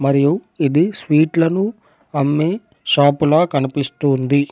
మరియు ఇది స్వీట్ లను అమ్మే షాప్ లా కనిపిస్తుంది.